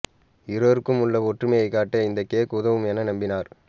இருவருக்கும் உள்ள ஒற்றுமையை காட்ட இந்த கேக் உதவும் என நம்பினார்